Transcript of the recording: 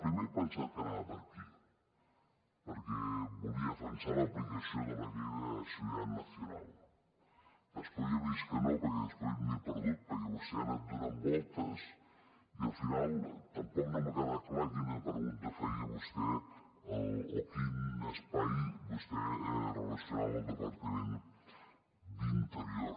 primer he pensat que anava per aquí perquè volia defensar l’aplicació de la ley de seguridad nacional després he vist que no perquè després m’he perdut perquè vostè ha anat donant voltes i al final tampoc no m’ha quedat clar quina pregunta feia vostè o quin espai vostè relacionava al departament d’interior